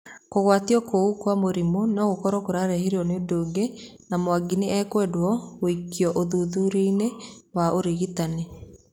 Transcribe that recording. Kũgwatio kũu kwa mũrimũ no gũkoro kũrarehiro ni ũndũ ũngĩ.na Mwangi nĩ ekwendo gũĩko ũthuthuria wa ũrigitani.